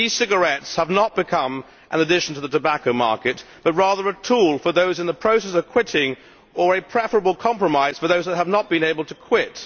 E cigarettes have not become an addition to the tobacco market, but rather a tool for those in the process of quitting or a preferable compromise for those that have not been able to quit.